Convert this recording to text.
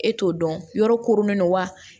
E t'o dɔn yɔrɔ koronnen don wa